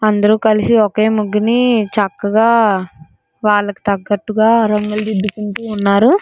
అందరూ కలిసి ఒకే ముగ్గుని చక్కగా వాళ్లకి తగ్గట్టుగా రంగులోదిద్దుకుంటూ ఉన్నారు.